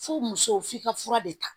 F'u musow f'i ka fura de ta